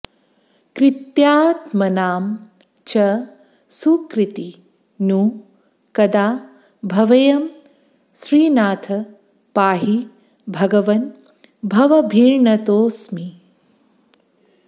कृत्यात्मनां च सुकृती नु कदा भवेयं श्रीनाथ पाहि भगवन् भवभीर्नतोऽस्मि